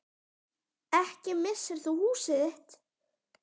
Ekki missir þú húsið þitt.